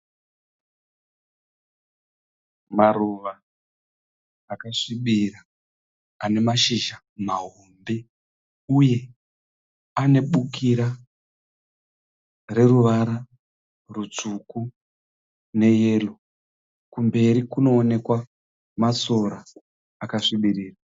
Maruva akasvibira ane mashizha mahombe uye ane bukira reruvara rutsvuku neyero. Kumberi kunowonekwa masora akasvibirira.